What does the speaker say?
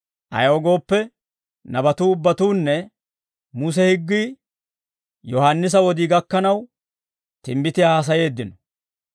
Ayaw gooppe, nabatuu ubbatuunne Muse higgii Yohaannisa wodii gakkanaw, timbbitiyaa haasayeeddino;